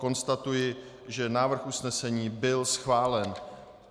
Konstatuji, že návrh usnesení byl schválen.